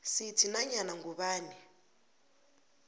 sithi nanyana ngubani